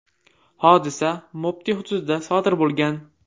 Hodisa Mopti hududida sodir bo‘lgan.